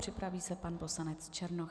Připraví se pan poslanec Černoch.